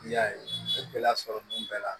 N'i y'a ye n bɛ gɛlɛya sɔrɔ nin bɛɛ la